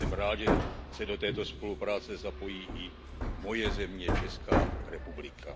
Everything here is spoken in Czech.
Jsem rád, že se do této spolupráce zapojí i moje země, Česká republika.